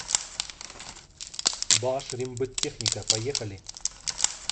башрембыттехника поехали